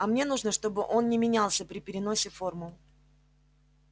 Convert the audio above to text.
а мне нужно чтобы он не менялся при переносе формул